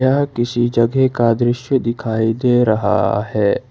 यह किसी जगह का दृश्य दिखाई दे रहा है।